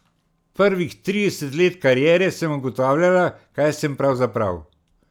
Prvih trideset let kariere sem ugotavljala, kaj sem pravzaprav.